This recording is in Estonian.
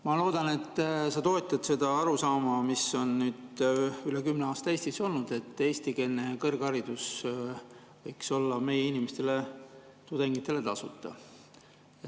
Ma loodan, et sa toetad seda arusaama, mis on üle kümne aasta Eestis olnud, et eestikeelne kõrgharidus võiks olla meie inimestele, tudengitele tasuta.